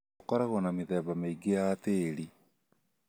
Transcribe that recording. Gũkoragwo na mĩthemba mĩingĩ ya tĩĩri.